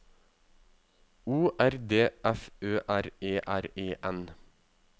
O R D F Ø R E R E N